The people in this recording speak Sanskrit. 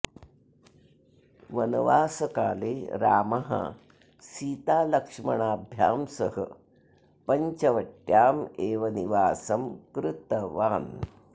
वनवासकाले रामः सीतालक्ष्मणाभ्यां सह पञ्चवट्याम् एव निवासं कृतवान्